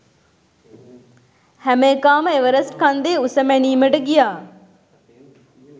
හැම එකාම එවරස්ට් කන්දේ උස මැනීමට ගියා